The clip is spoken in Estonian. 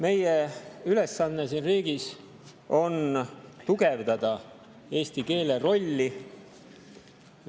Meie ülesanne siin riigis on tugevdada eesti keele rolli.